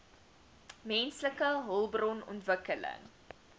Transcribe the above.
menslike hulpbron ontwikkeling